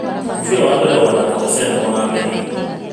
Mũbira wa mbere ũgakorũo ũgĩthakwo nĩ Senegal na Benin